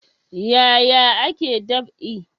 Yaya ake dab'i?